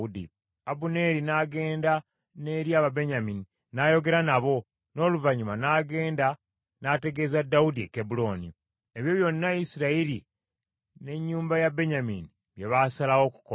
Abuneeri n’agenda n’eri Ababenyamini n’ayogera nabo, n’oluvannyuma n’agenda n’ategeeza Dawudi e Kebbulooni, ebyo byonna Isirayiri n’ennyumba ya Benyamini bye baasalawo okukola.